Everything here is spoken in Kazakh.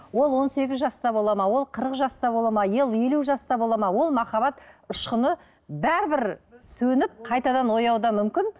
ол он сегіз жаста болады ма ол қырық жаста болады ма елу жаста болады ма ол махаббат ұшқыны бәрібір сөніп қайтадан оянуы мүмкін